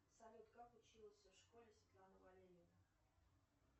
салют как училась в школе светлана валерьевна